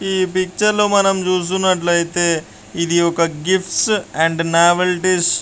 ఈ పిక్చర్ లో మనం చూస్తున్నట్లయితేఇది ఒక గిఫ్ట్స్ అండ్ నవల్ డిష్--